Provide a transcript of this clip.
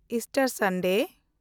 Easter Sunday